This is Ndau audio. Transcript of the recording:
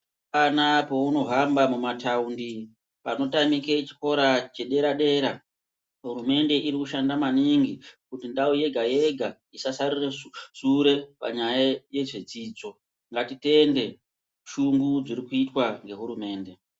Apana pauno hamba muma tawundi pano tamike chikora chepa dera dera hurumende iri kushanda maningi kuti ndau yega yega isa sarire shure panyaya ye zvedzidzo ngati tende shungu dziri kuitwa nge hurumende.